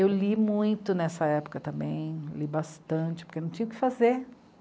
Eu li muito nessa época também, li bastante, porque não tinha o que fazer.